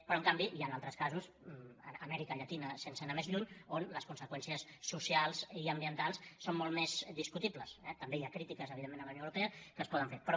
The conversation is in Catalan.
però en canvi hi han altres casos amèrica llatina sense anar més lluny on les conseqüències socials i ambientals són molt més discutibles eh també hi ha crítiques evidentment a la unió europea que es poden fer però